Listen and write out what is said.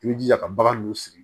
I b'i jija ka bagan nunnu siri